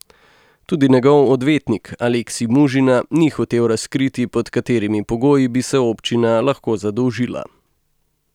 Tudi njegov odvetnik Aleksij Mužina ni hotel razkriti, pod katerimi pogoji bi se občina lahko zadolžila.